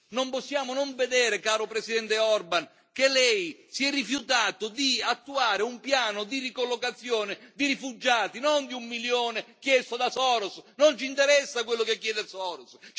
Non possiamo non vedere, caro Presidente Orban, che lei si è rifiutato di attuare un piano di ricollocazione di rifugiati, non di un milione chiesto da Soros, non ci interessa quello che chiede Soros!